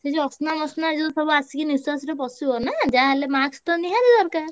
ସେ ଯୋଉ ଅସନା ମସନା ଯୋଉ ସବୁ ଆସିକି ନିଃଶ୍ଵାସରେ ପଶିବ ନା ଯାହାହେଲେ mask ତ ନିହାତି ଦରକାର।